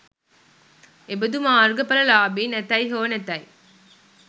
එබඳු මාර්ග ඵල ලාභීන් ඇතැයි හෝ නැතැයි